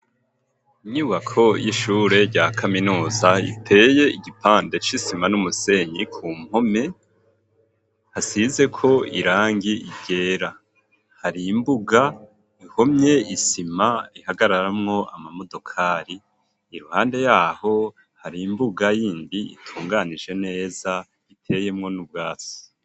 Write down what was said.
Inyubako y'ishure rya kaminuza iteye igipande c'isima n'umusenyi ku mpome hasizeko irangi ryera hari imbuga ihomye isima ihagararamwo ama modokari iruhande yaho hari imbuga y'indi itunganije neza iteyemwo n'ubwasi.